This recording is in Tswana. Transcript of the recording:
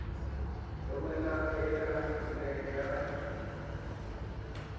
romelang e ka nne ya